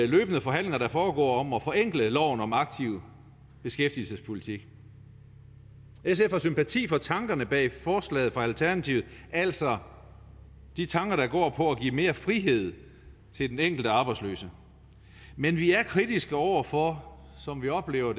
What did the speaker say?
løbende forhandlinger der foregår om at forenkle loven om aktiv beskæftigelsespolitik sf har sympati for tankerne bag forslaget fra alternativet altså de tanker der går på at give mere frihed til den enkelte arbejdsløse men vi er kritiske over for sådan oplever